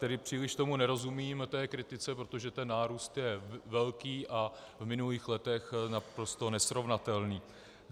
Tedy příliš tomu nerozumím, té kritice, protože ten nárůst je velký a s minulými lety naprosto nesrovnatelný.